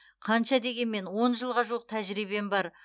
қанша дегенмен он жылға жуық тәжірибем бар